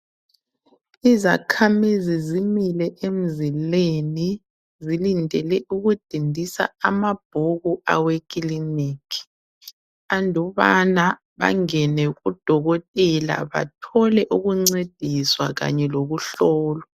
Izakhamizi zimile emzileni zilindele ukudindisa amabhuku aweklinikhi andubana bangene kudokotela bathole ukuncediswa kanye lokuhlolwa.